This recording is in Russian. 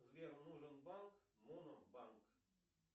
сбер нужен банк монобанк